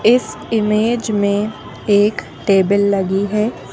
इस इमेज में एक टेबल लगी है।